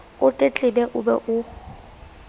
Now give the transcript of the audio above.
o tletlebe o be o